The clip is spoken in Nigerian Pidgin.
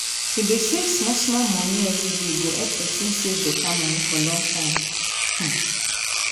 to dey save small-small money everyday go help person save better money for long time.